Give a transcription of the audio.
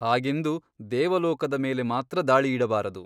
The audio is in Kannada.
ಹಾಗೆಂದು ದೇವಲೋಕದ ಮೇಲೆ ಮಾತ್ರ ದಾಳಿಯಿಡಬಾರದು.